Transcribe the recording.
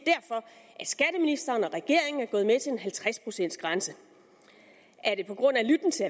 skatteministeren og regeringen er gået med til en halvtreds procents grænse er det på grund af lytten til